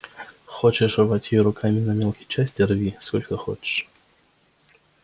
хочешь рвать её руками на мелкие части рви сколько хочешь